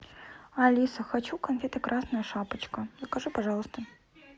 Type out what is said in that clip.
алиса хочу конфеты красная шапочка закажи пожалуйста